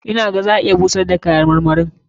Ina ganin za a iya busar da kayan marmarin.